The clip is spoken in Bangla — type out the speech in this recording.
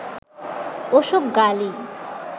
ওসব গালি